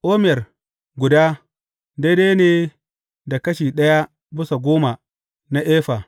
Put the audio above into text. Omer guda, daidai ne da kashi ɗaya bisa goma na Efa.